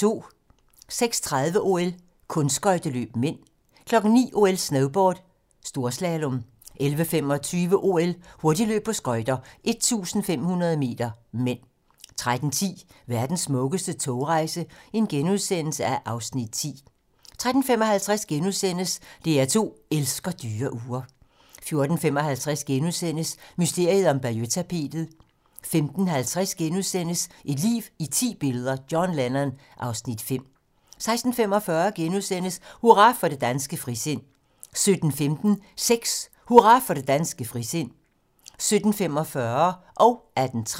06:30: OL: Kunstskøjteløb (m) 09:00: OL: Snowboard - storslalom 11:25: OL: Hurtigløb på skøjter - 1500 m (m) 13:10: Verdens smukkeste togrejser (Afs. 10)* 13:55: DR2 elsker dyre ure * 14:55: Mysteriet om Bayeux-tapetet * 15:50: Et liv i ti billeder - John Lennon (Afs. 5)* 16:45: Hurra for det danske frisind * 17:15: Sex: Hurra for det danske frisind 17:45: Kunstquiz